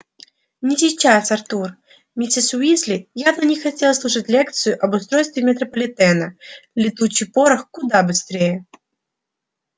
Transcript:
не сейчас артур миссис уизли явно не хотелось слушать лекцию об устройстве метрополитена летучий порох куда быстрее